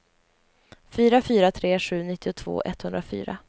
fyra fyra tre sju nittiotvå etthundrafyra